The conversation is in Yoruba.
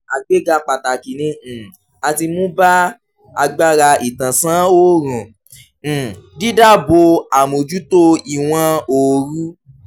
àgbéga pàtàkì ni um a ti mú bá agbára ìtànsán-òòrùn: um dídáàbò àmójútó ìwọ̀n-oorù.